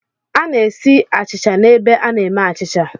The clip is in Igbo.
A na-esi achịcha n'ebe a na-eme achịcha.